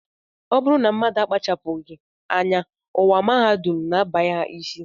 Ọ bụrụ na mmadụ akpachapụghị anya, ụwa mahadum na-abanye ha isi